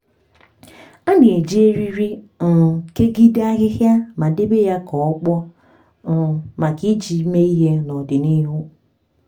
a na-eji eriri um kegide ahịhịa ma debe ya ka ọ kpọọ um maka iji mee ihe n’odịnihu